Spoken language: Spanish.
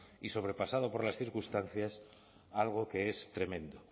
y sobrepasado por las circunstancias algo que es tremendo